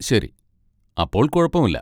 ശരി, അപ്പോൾ കുഴപ്പമില്ല.